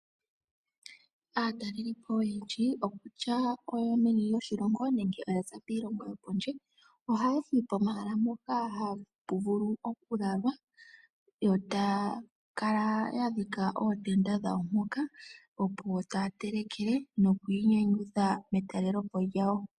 Aatalelipo oyendji, okutya oyo meni lyoshilongo nenge oya za piilongo yopondje ohaya yi pomahala mpoka hapu vulu okulalwa yo taya kala ya dhika ootenda dhawo mpoka opo taya telekele noku inyanyudha metalelepo lyawo.